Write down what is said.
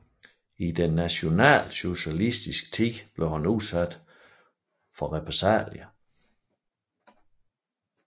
I den nationalsocialistiske tid blev han udsat for repressalier